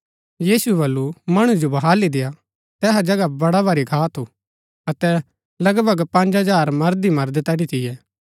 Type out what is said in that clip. यीशुऐ वलू मणु जो बहाली देय्आ तैहा जगह बडा भारी घा थू अतै लगभग पँज हजार मर्द ही मर्द तैठी थियै